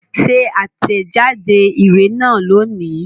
Ṣe àtẹ̀jáde ìwé náà lónìí